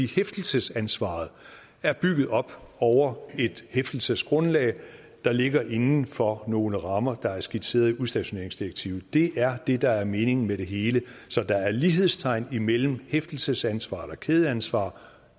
hæftelsesansvaret er bygget op over et hæftelsesgrundlag der ligger inden for nogle rammer der er skitseret i udstationeringsdirektivet det er det der er meningen med det hele så der er lighedstegn imellem hæftelsesansvaret og kædeansvar